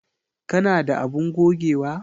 Ka na da abun gogewa?